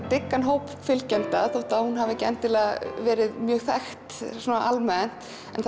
dyggan hóp fylgjenda þótt hún hafi ekki verið mjög þekkt almennt